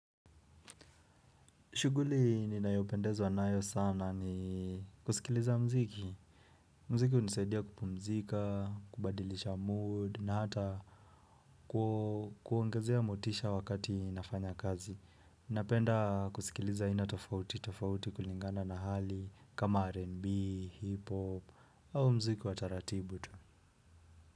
Shughuli ninayopendezwa nayo sana ni kusikiliza muziki. Muziki hunisaidia kupumzika, kubadilisha mood na hata kuongezea motisha wakati nafanya kazi. Napenda kusikiliza aina tofauti tofauti kulingana na hali kama R&B, hip-hop au muziki wa taratibu tu.